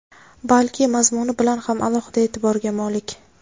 balki mazmuni bilan ham alohida e’tiborga molik.